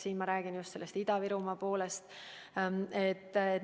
Siin ma räägin just Ida-Virumaast.